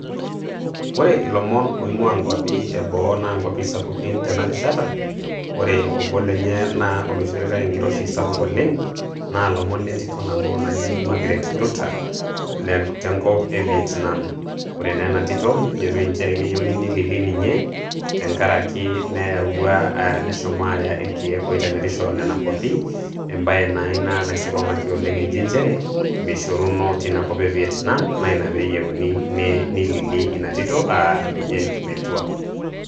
ore ilomon oing'uaa inkuapi eboo naa nkuapi sapukin tena rishata, ore obo lenye naa oloishoritae enkiroshi sapukin oleng, naa ilmon le ntito nabo naji magret nduta, te nkop e vietnam. ore aa ena tito na kejitoi nchere keyieunu nililii ninye ,tenkaraki neyawuah aah neshomo aya irkeek oitemerisho nena kuapi, ebae, naa ina naisikong'aki pleng eji nchere meishoruno teina kop e Vietnam, naa ina pee eyieuni neilili ina tito ninye metua.